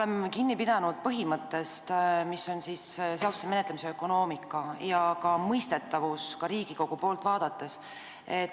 Me pidasime seal kinni seaduste menetlemise ökonoomika ja mõistetavuse põhimõttest ka Riigikogu poolt vaadates.